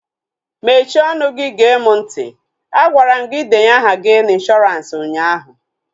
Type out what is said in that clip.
Mechie ọnụ gee mụ ntị! Agwara m gị denye aha gị na ịnshọransị ụnyaahụ